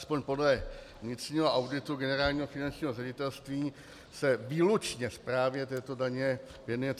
Alespoň podle vnitřního auditu Generálního finančního ředitelství se výlučně správě této daně věnuje 359 osob.